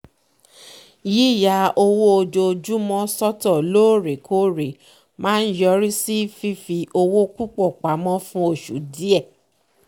yíya owó ojoojúmọ́ sọ́tọ̀ lóòrèkóòrè máa ń yọrí sí fífi owó púpọ̀ pamọ́ fún oṣù díẹ̀